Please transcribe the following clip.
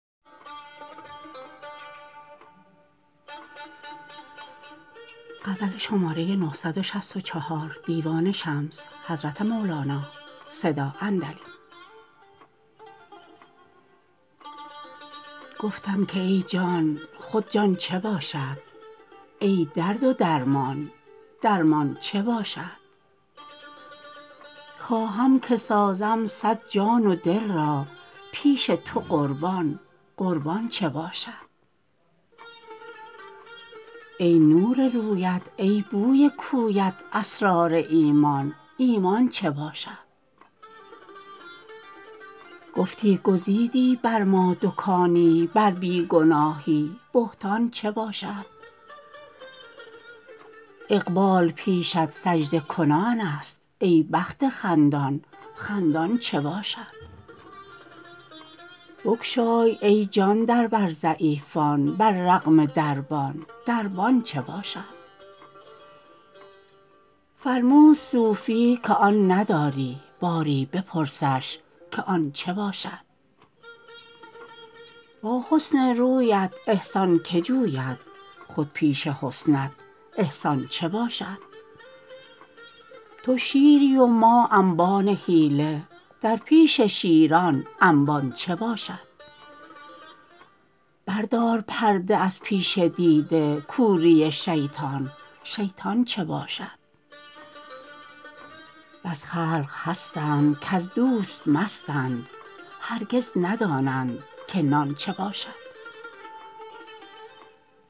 گفتم که ای جان خود جان چه باشد ای درد و درمان درمان چه باشد خواهم که سازم صد جان و دل را پیش تو قربان قربان چه باشد ای نور رویت ای بوی کویت اسرار ایمان ایمان چه باشد گفتی گزیدی بر ما دکانی بر بی گناهی بهتان چه باشد اقبال پیشت سجده کنانست ای بخت خندان خندان چه باشد بگشای ای جان در بر ضعیفان بر رغم دربان دربان چه باشد فرمود صوفی که آن نداری باری بپرسش که آن چه باشد با حسن رویت احسان کی جوید خود پیش حسنت احسان چه باشد تو شیری و ما انبان حیله در پیش شیران انبان چه باشد بردار پرده از پیش دیده کوری شیطان شیطان چه باشد بس خلق هستند کز دوست مستند هرگز ندانند که نان چه باشد